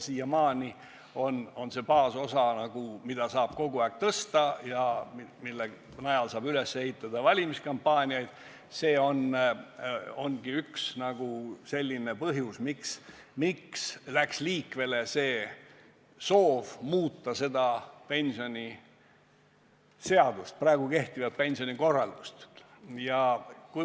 Siiamaani on see baasosa, mida saab kogu aeg suurendada ja mille najal saab üles ehitada valimiskampaaniaid, üks põhjus, miks läks liikvele soov muuta praegu kehtivat pensionikorraldust.